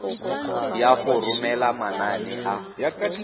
ya go romela manane a